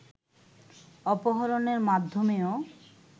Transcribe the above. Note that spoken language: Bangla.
অপহরণের মাধ্যমেও